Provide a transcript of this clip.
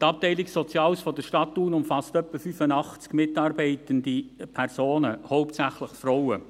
Die Abteilung Soziales der Stadt Thun umfasst etwa 85 mitarbeitende Personen, hauptsächlich Frauen.